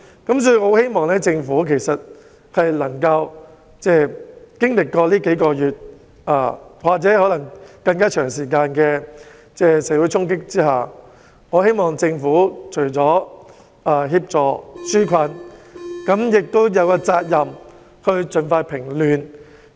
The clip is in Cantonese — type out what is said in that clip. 因此，我希望政府經歷這數個月或可能更長時間的社會衝擊之後，除了應該紓解民困，亦有責任盡快平亂。